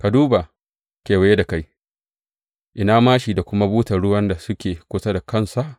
Ka duba kewaye da kai, ina māshi da kuma butar ruwan da suke kusa da kansa?